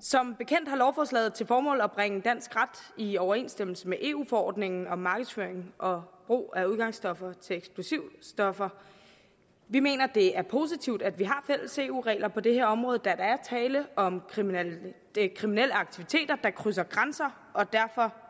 som bekendt har lovforslaget til formål at bringe dansk ret i overensstemmelse med eu forordningen om markedsføring og brug af udgangsstoffer til eksplosivstoffer vi mener det er positivt at vi har fælles eu regler på det her område da der er tale om kriminelle kriminelle aktiviteter der krydser grænser og derfor